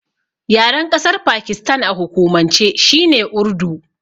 Yaren ƙasar Pakistan a hukumance shine Urdu.